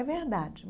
É verdade.